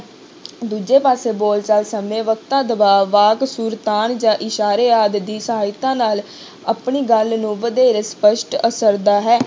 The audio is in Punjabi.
ਦੂਜੇ ਪਾਸੇ ਬੋਲਚਾਲ ਸਮੇਂ ਵਕਤਾ ਦਬਾਅ ਵਾਕ ਸੁਰਤਾਲ ਜਾਂ ਇਸ਼ਾਰੇ ਆਦਿ ਦੀ ਸਹਾਇਤਾ ਨਾਲ ਆਪਣੀ ਗੱਲ ਨੂੰ ਵਧੇਰੇ ਸਪਸ਼ਟ ਹੈ।